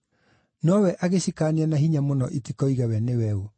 Nowe agĩcikaania na hinya mũno itikoige we nĩwe ũ.